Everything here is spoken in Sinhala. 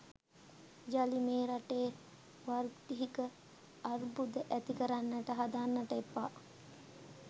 යලි මේ රටේ වාර්ගික අර්බුධ ඇති කරන්ට හදන්ට එපා.